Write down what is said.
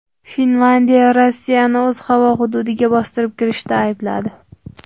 Finlyandiya Rossiyani o‘z havo hududiga bostirib kirishda aybladi.